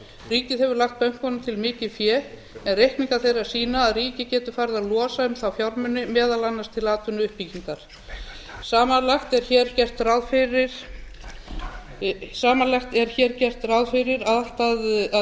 ríkið hefur lagt bönkunum til mikið fé reikningar þeirra sýna að ríkið getur farið að losa um þá fjármuni meðal annars til atvinnuuppbyggingar samanlagt er hér gert ráð fyrir að